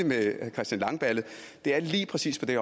med herre christian langballe er lige præcis på det